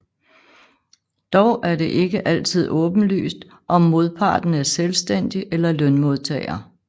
Dog er det ikke altid åbenlyst om modparten er selvstændig eller lønmodtager